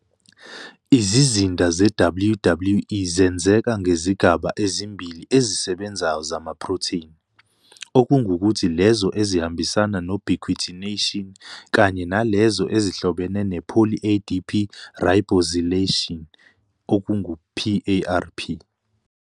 Izizinda ze-WWE zenzeka ngezigaba ezimbili ezisebenzayo zamaprotheni, okungukuthi lezo ezihambisana nobiquitination kanye nalezo ezihlobene ne-poly-ADP ribosylation, PARP.